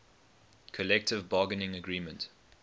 collective bargaining agreement